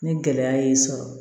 Ni gɛlɛya y'i sɔrɔ